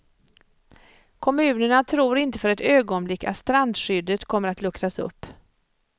Kommunerna tror inte för ett ögonblick att strandskyddet kommer att luckras upp.